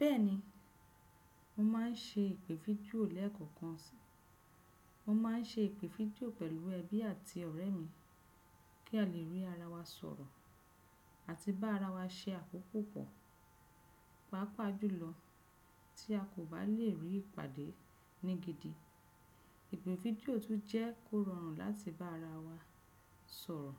Bẹ́ẹ̀ni, mo máà ń ṣe ìpè fídíò lẹ́ẹ̀kọ̀kan. Mo máà ń ṣe ìpè fídíò pẹ̀lú ẹbí àti ọ̀rẹ́ mi kí a lè rí ara wa sọ̀rọ̀ àti bá ara wa se àkókò pọ̀ papajùlọ tí a kò bá lè rí ìpàdé ní gidi. Ìpè fídíò tún jẹ́ kó rọrùn láti bá ara wa sọ̀rọ̀,